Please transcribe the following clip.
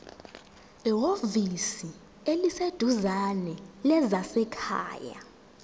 ehhovisi eliseduzane lezasekhaya